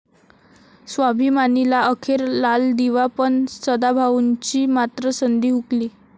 स्वाभिमानी'ला अखेर लालदिवा पण, सदाभाऊंची मात्र संधी हुकली